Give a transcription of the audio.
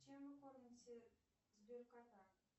чем вы кормите сбер кота